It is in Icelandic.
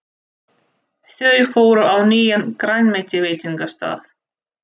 Þau fóru á nýjan grænmetisveitingastað.